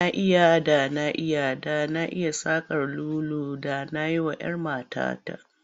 Da na iya, da na iya, da na iya saƙar lulu da na yi wa'yar matata.